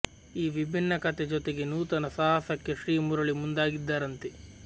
ಈ ವಿಭಿನ್ನ ಕಥೆ ಜೊತೆಗೆ ನೂತನ ಸಾಹಸಕ್ಕೆ ಶ್ರೀ ಮುರುಳಿ ಮುಂದಾಗಿದ್ದಾರಂತೆ